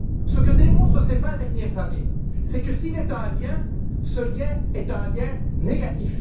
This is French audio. Ce que démontrent ces vingt dernières années, c'est que, s'il est un lien, ce lien est un lien négatif.